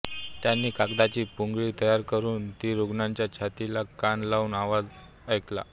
त्यांनी कागदाची पुंगळी तयार करून ती रुग्णाच्या छातीला कान लावून आवाज ऐकला